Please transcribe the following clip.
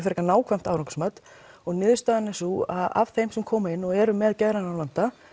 frekar nákvæmt árangursmat og niðurstaðan er sú að af þeim sem komu inn og eru með geðrænan vanda